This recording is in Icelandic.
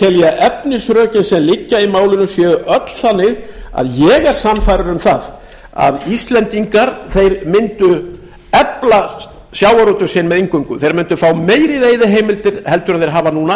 tel ég að efnisrök sem liggja í málinu séu öll þannig að ég er sannfærður um að íslendingar myndu efla sjávarútveg sinn eingöngu þeir myndu frá meiri veiðiheimildir heldur en þeir hafa núna